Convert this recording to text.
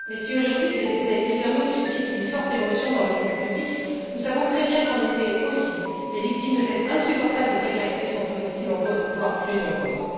Mais si, aujourd'hui, ces décès hivernaux suscitent une forte émotion dans l'opinion publique, nous savons très bien qu'en été aussi, les victimes de cette insupportable précarité sont aussi nombreuses voire plus nombreuses.